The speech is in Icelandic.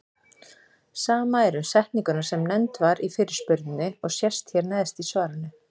Sama er um setninguna sem nefnd var í fyrirspurninni og sést hér neðst í svarinu.